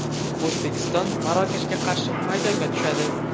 O‘zbekiston Marokashga qarshi maydonga tushadi.